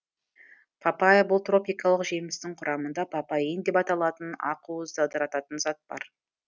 папайя бұл тропикалық жемістің құрамында папаин деп аталатын ақуызды ыдырататын зат бар